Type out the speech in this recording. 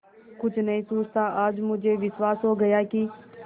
कुछ नहीं सूझता आज मुझे विश्वास हो गया कि